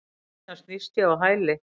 Síðan snýst ég á hæli.